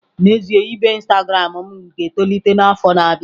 N'ezie, ibe Instagram m ga-etolite n'afọ na-abịa.